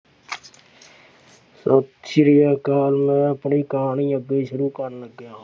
ਸਤਿ ਸ੍ਰੀ ਅਕਾਲ। ਮੈਂ ਆਪਣੀ ਕਹਾਣੀ ਅੱਗੇ ਸ਼ੁਰੂ ਕਰਨ ਲੱਗਿਆ।